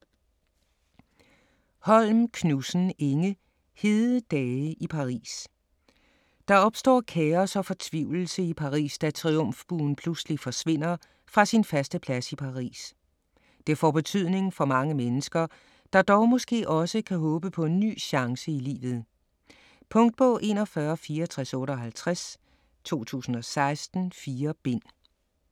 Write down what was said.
Holm Knudsen, Inge: Hede dage i Paris Der opstår kaos og fortvivlelse i Paris, da Triumfbuen pludselig forsvinder fra sin faste plads i Paris. Det får betydning for mange mennesker, der dog måske også kan håbe på en ny chance i livet. Punktbog 416458 2016. 4 bind.